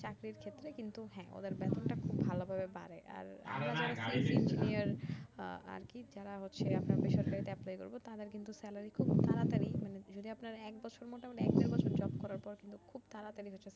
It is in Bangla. চাকরির ক্ষেত্রে কিন্তু হ্যা ওদের বেতনটা খুব ভালো ভাবে বাড়ে আর আরকি যারা হচ্ছে আপনার বেসরকারিতে apply করবো তাদের কিন্তু salary খুব তাড়াতড়ি মানে যদি আপনার একবছর মোটামুটি এক দেড় বছর job করার পর কিন্তু খুব তাড়াতাড়ি হচ্ছে